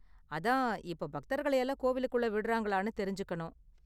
அதான், இப்ப பக்தர்களை எல்லாம் கோவிலுக்குள்ள விடுறாங்களான்னு தெரிஞ்சுக்கணும்.